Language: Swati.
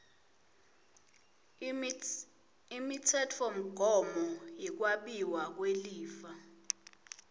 imitsetfomgomo yekwabiwa kwelifa